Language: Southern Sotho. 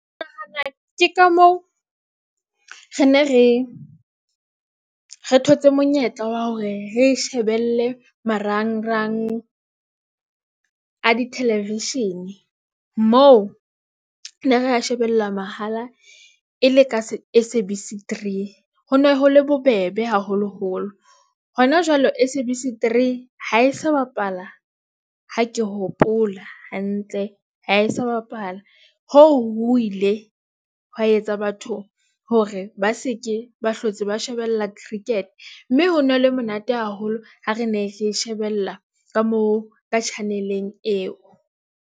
Ke ka moo re ne re thotse monyetla wa hore re shebelle marangrang a di- Television moo ne re a shebella mahala. E le ka S_A_B_C three, ho ne ho le bobebe haholoholo hona jwale S_A_B_C three. Ha e sa bapala. Ha ke hopola hantle ha e sa bapala hoo ho ile hwa etsa batho hore ba seke, ba hlotse, ba shebella cricket mme ho no le monate haholo ha re ne re shebella ka moo ka Channel _eng eo.